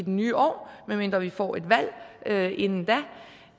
nye år medmindre vi får et valg inden